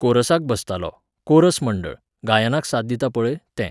कोरसाक बसतालों, कोरस मंडळ, गायनाक साथ दिता पळय, तें.